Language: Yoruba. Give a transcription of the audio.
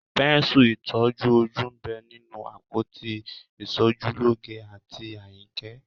Pẹ́ńsù ìtọ́ ojú ń bẹ nínú àpótí ìṣojúlóge àǹtí Àyìnkẹ́